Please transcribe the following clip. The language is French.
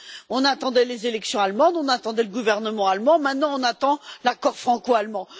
On attendait les élections allemandes, on attendait le gouvernement allemand, maintenant on attend l'accord franco allemand.